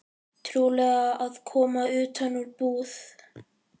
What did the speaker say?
Trúlega að koma utan úr búð.